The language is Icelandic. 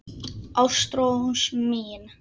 Ástrós mín.